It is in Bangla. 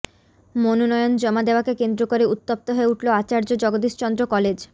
মনোনয়ন জমা দেওয়াকে কেন্দ্র করে উত্তপ্ত হয়ে উঠল আচার্য জগদীশচন্দ্র কলেজ